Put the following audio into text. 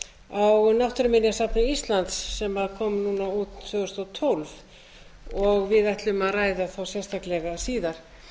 á náttúruminjasafni íslands sem kom út tvö þúsund og tólf og við ætlum að ræða sérstaklega síðar